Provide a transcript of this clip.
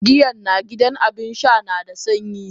Giyan na gidan Abinsha nada sanyi?